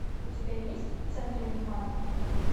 у тебя есть в центре внимания